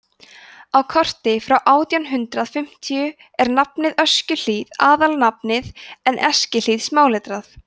á korti frá átján hundrað fimmtíu er nafnið öskjuhlíð aðalnafnið en eskihlíð smáletrað